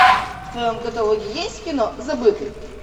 в твоем каталоге есть кино забытый